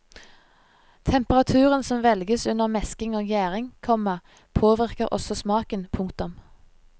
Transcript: Temperaturen som velges under mesking og gjæring, komma påvirker også smaken. punktum